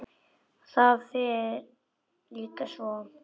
Það fer líka svo.